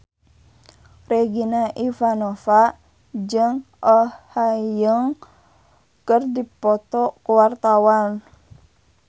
Regina Ivanova jeung Oh Ha Young keur dipoto ku wartawan